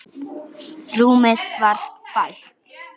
Rúmið var bælt.